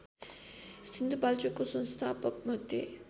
सिन्धुपाल्चोकको संस्थापकमध्ये